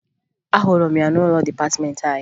Ahụrụ m ya n'ụlọ dịpatịmeentị anyị